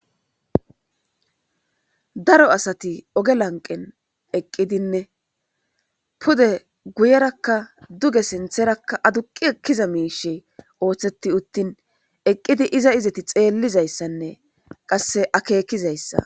Daro asati oge laniqqenni eqqidinne pude guyerakka duge sinththerakka aduqqi ekkiza mishshe oththetti uttin eqqid iza izeti xellizayissanne qase akekizayissa